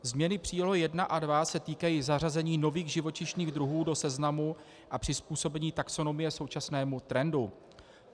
Změny příloh I a II se týkají zařazení nových živočišných druhů do seznamu a přizpůsobení taxonomie současnému trendu.